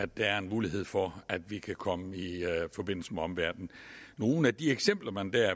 der er en mulighed for at de kan komme i forbindelse med omverdenen nogle af de eksempler man dér